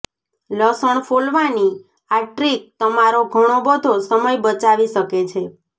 લસણ ફોલવાની આ ટ્રીક તમારો ઘણો બધો સમય બચાવી શકે છે